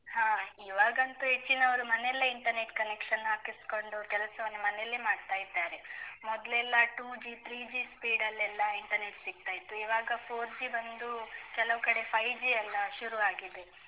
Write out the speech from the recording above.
ಹಾ, ಇವಾಗಂತು ಹೆಚ್ಚಿನವರು ಮನೆಯಲ್ಲೆ internet connection ಹಾಕಿಸ್ಕೊಂಡ್ ಕೆಲಸವನ್ನು ಮನೆಯಲ್ಲೇ ಮಾಡ್ತಾ ಇದ್ದಾರೆ, ಮೊದಲೆಲ್ಲ two G, three G speed ಲ್ಲೆಲ್ಲ internet ಸಿಗ್ತಾ ಇತ್ತು, ಇವಾಗ four G ಬಂದು, ಕೆಲವು ಕಡೆ five G ಎಲ್ಲ ಶುರು ಆಗಿದೆ.